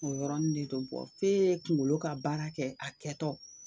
O yɔrɔni de don f'e kungolo ka baara kɛ a kɛtɔ,